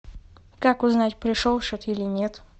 как узнать пришел счет или нет